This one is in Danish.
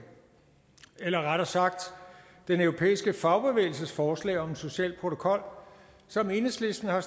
eller rettere sagt den europæiske fagbevægelses forslag om en social protokol som enhedslisten har